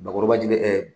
Bakɔrɔba ji dɛ